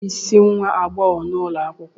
Ònye bụ isi nwa agbogho ulo akwukwo?